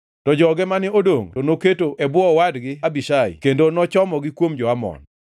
To joge mane odongʼ to noketo e bwo owadgi Abishai kendo nochomogi kuom jo-Amon.